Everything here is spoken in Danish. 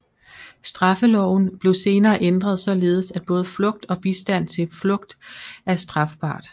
Straffeloven blev senere ændret således at både flugt og bistand til flugt er strafbart